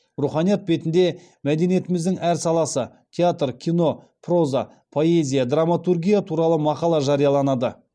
руханият бетінде мәдениетіміздің әр саласы театр кино проза поэзия драматургия туралы мақала жарияланады